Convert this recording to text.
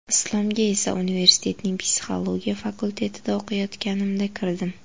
Islomga esa universitetning psixologiya fakultetida o‘qiyotganimda kirdim.